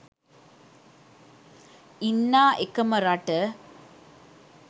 ඉන්නා එකම රට